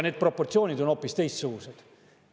Need proportsioonid on hoopis teistsugused.